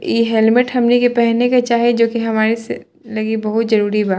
इ हेलमेट हमनी के पहने के चाही जो की हमारे स लगी बहुत जरूरी बा।